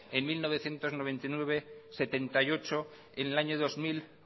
en mil novecientos noventa y nueve setenta y ocho en el año dos mil